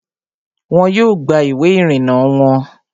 Wọn yóò gba ìwé ìrìnnà wọon